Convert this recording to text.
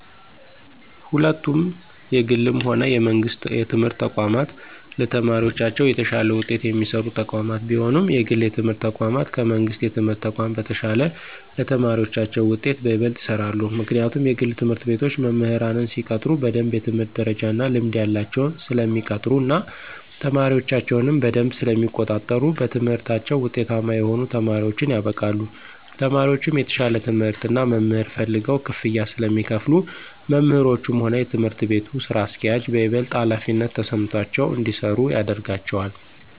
ሁለቱም የግልም ሆነ የመንግስት የትምህርት ተቋማት ለተማሪዎቻቸው የተሻለ ውጤት የሚሰሩ ተቋማት ቢሆኑም የግል የትምህርት ተቋማት ከመንግሥት የትምህርት ተቋም በተሻለ ለተማሪዎቻቸው ውጤት በይበልጥ ይሰራሉ። ምክንያቱም የግል ትምህርት ቤቶች መምህራንን ሲቀጥሩ በደምብ የትምህርት ደረጃ እና ልምድ ያላቸውን ስለሚቀጥሩ እና ተማሪዎቻቸውንም በደምብ ስለሚቆጣጠሩ በትምህርታቸው ውጤታማ የሆኑ ተማሪዎችን ያበቃሉ። ተማሪዎቹም የተሻለ ትምህርት እና መምህር ፈልገው ክፍያ ስለሚከፍሉ መምህሮቹም ሆኑ የትምህርት ቤቱ ስራ አስኪያጆች በይበልጥ ሀላፊነት ተሰምቷቸው እንዲሰሩ ያደርጋቸዋል።